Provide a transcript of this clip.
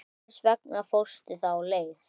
Hvers vegna fórstu þá leið?